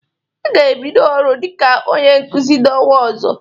Ị ga-ebido ọrụ dịka onye Nkụzi n'ọnwa ọzọ!